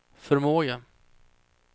förmåga